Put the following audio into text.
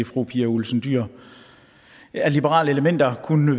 fru pia olsen dyhr af liberale elementer kunne